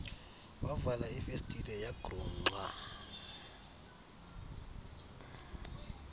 wavala ifestile yagrungqa